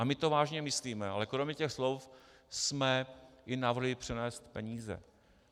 A my to vážně myslíme, ale kromě těch slov jsme i navrhli přenést peníze.